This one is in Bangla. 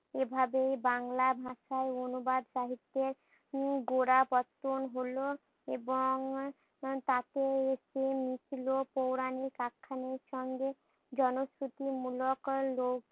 এভাবেই বাংলা ভাষায় অনুবাদ সাহিত্যের উম গোড়াপত্তন হলো এবং তাতে একটি লিখিলো পৌরাণিক আখ্যানের সঙ্গে জনস্রোতী মূলক লোক